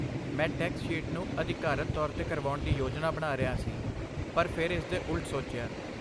ਮੈਂ tax sheet ਨੂੰ ਅਧਿਕਾਰਤ ਤੌਰ 'ਤੇ ਕਰਵਾਉਣ ਦੀ ਯੋਜਨਾ ਬਣਾ ਰਿਹਾ ਸੀ, ਪਰ ਫਿਰ ਇਸਦੇ ਉਲਟ ਸੋਚਿਆ।